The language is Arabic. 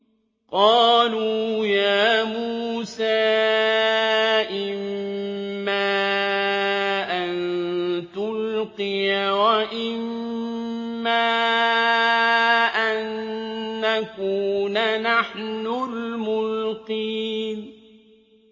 قَالُوا يَا مُوسَىٰ إِمَّا أَن تُلْقِيَ وَإِمَّا أَن نَّكُونَ نَحْنُ الْمُلْقِينَ